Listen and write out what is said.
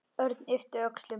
Örn yppti öxlum.